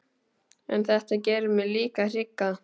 En þetta gerir mig líka hrygga.